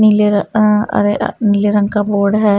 नीले र अ नीले रंग का बोर्ड है।